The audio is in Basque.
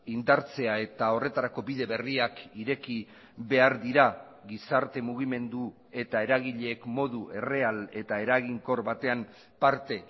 indartzea eta horretarako bide berriak ireki behar dira gizarte mugimendu eta eragileek modu erreal eta eraginkor batean parte